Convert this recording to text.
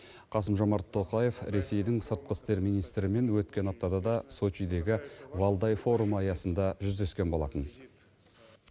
қасым жомарт тоқаев ресейдің сыртқы істер министрімен өткен аптада да сочидегі валдай форумы аясында жүздескен болатын